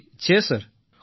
જી છે સર